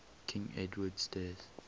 king edward's death